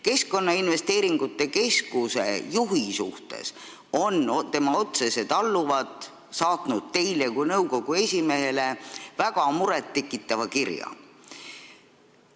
Keskkonnainvesteeringute Keskuse juhi kohta on tema otsesed alluvad saatnud teile kui nõukogu esimehele väga muret tekitava kirja.